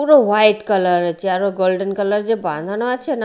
পুরো white colour আচে আরও গোল্ডেন কালার যে বাঁধানো আচে না--